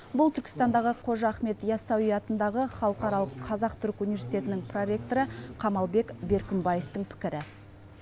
бұл түркістандағы қожа ахмет яссауи атындағы халықаралық қазақ түрік университетінің проректоры қамалбек беркінбаевтың пікірі